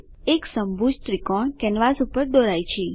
એક સમભુજ ત્રિકોણ કેનવાસ પર દોરાય છે